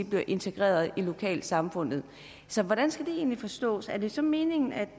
bliver integreret i lokalsamfundet så hvordan skal det egentlig forstås er det så meningen at